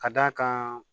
Ka d'a kan